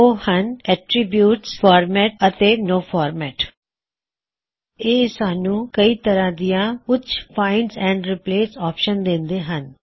ਉਹ ਹੱਨ attributes format ਅਤੇ ਨੋਂ ਫੌਰਮੈਟ ਇਹ ਸਾਨੂੰ ਕਾਫੀ ਤਰਾਂ ਦੀਆਂ ਉੱਚ ਫਾਇਨ੍ਡ ਐਂਡ ਰਿਪ੍ਲੇਸ ਆਪ੍ਸ਼ਨਜ਼ ਦੇਂਦੇ ਹਨ